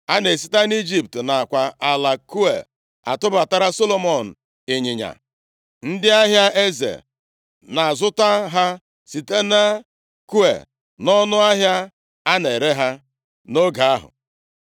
A na-esite nʼIjipt nakwa ala Kue atụbatara Solomọn ịnyịnya. Ndị ahịa eze na-azụta ha site na Kue nʼọnụ ahịa a na-ere ha nʼoge ahụ.